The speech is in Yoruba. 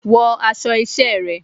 Wọ aṣọ iṣẹ́ rẹ̀!